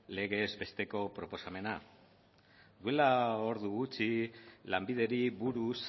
legez besteko proposamena duela ordu gutxi lanbideri buruz